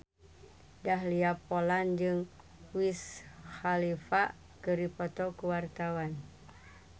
Dahlia Poland jeung Wiz Khalifa keur dipoto ku wartawan